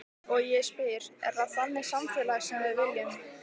Og ég spyr, er það þannig samfélag sem við viljum?